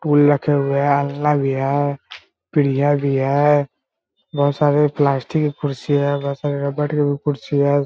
Tool रखे हुए हैं भी है भी है बहुत सारे प्लास्टिक के कुर्सी है बहुत सारे रबर की कुर्सी है।